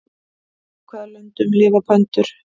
Í hvaða löndum lifa pöndur?